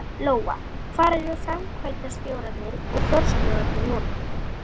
Lóa: Hvar eru framkvæmdastjórarnir og forstjórinn núna?